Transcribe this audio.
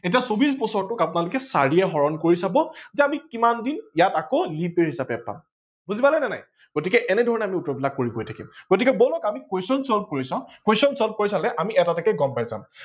এতিয়া চৌবিশ বছৰটো আপোনালোকে চাৰিএ হৰন কৰি চাব যে আমি কিমান দিন ইয়াত আকৌ leap year হিচাপে পাম বুজি পালে নে নাই গতিকে এনে ঘৰনে আমি উত্তৰ বিলাক কৰি গৈ থাকিম। গতিকে বলক আমি question solve কৰি চাও question solve কৰি চালে আমি এটা এটাকে গম পাই যাম।